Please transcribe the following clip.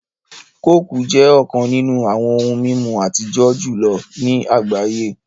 Kooku jẹ́ ọ̀kàn nínú awọn ohun mimú atijọ̀ julọ̀ ní agbáyé